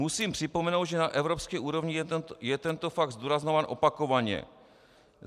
Musím připomenout, že na evropské úrovni je tento fakt zdůrazňován opakovaně.